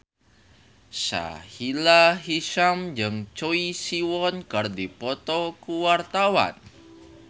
Sahila Hisyam jeung Choi Siwon keur dipoto ku wartawan